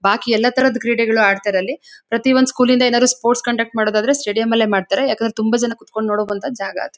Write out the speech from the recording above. ಬಾಕಿ ಎಲ್ಲಾ ತರದ ಕ್ರೀಡೆಗಳು ಆಡ್ತಾರೆ ಅಲ್ಲಿ ಪ್ರತಿಯೊಂದ್ ಸ್ಚೂಲಿಂದ ಏನಾರು ಸ್ಪೋರ್ಟ್ಸ್ ಕಂಡಕ್ಟ್ ಮಾಡೋದ್ದಾದ್ರೆ ಸ್ಟೇಡಿಯಂಲ್ಲೇ ಮಾಡ್ತಾರೆ ಯಾಕಂದ್ರೆ ತುಂಬಾ ಜನ ಕೂತ್ಕೊಂಡ್ ನೋಡುವಂತ ಜಾಗ ಅದು.